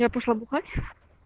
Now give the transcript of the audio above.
я пошла бухать